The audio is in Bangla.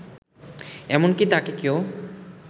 এমনকি তাকে কেউ